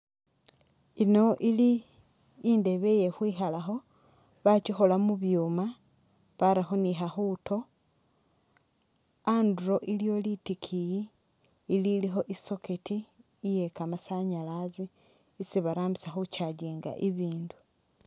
Ino ili indebe iye khwikhalakho bakyikhola mubyuma barakho ni khakhuto anduro iliwo litikiyi ililikho i'socket iye kamasanyalaze isi barambisa khu charging'a ibindu